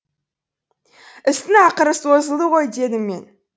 істің ақыры созылды ғой дедім мен